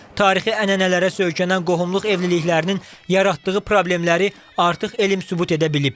Tarixi ənənələrə söykənən qohumluq evliliklərinin yaratdığı problemləri artıq elm sübut edə bilib.